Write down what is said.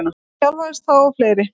Hann þjálfaði þá og fleiri.